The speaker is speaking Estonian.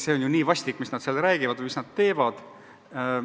See on ju nii vastik, mis nad seal räägivad ja mis nad teevad!